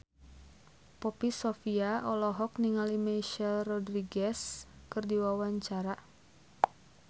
Poppy Sovia olohok ningali Michelle Rodriguez keur diwawancara